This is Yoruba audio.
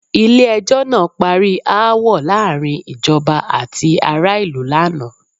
Ilé ẹjọ́ ná parí aáwọ̀ láàárín ìjọba àti ará ìlú laana.